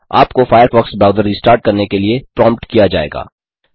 आपको Firefox browser restart करने के लिए प्रोम्प्ट किया जाएगा